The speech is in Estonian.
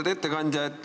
Lugupeetud ettekandja!